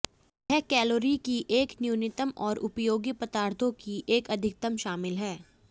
यह कैलोरी की एक न्यूनतम और उपयोगी पदार्थों की एक अधिकतम शामिल हैं